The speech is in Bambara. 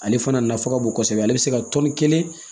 Ale fana nafa ka bon kosɛbɛ ale bɛ se ka tɔni kelen